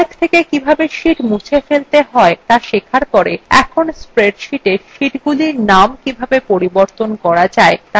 calc থেকে কিভাবে sheets মুছে ফেলতে হয় তা শেখার পর এখন spreadsheetএর শীটগুলির নাম কিভাবে পরিবর্তন করা যায় তা শেখা যাক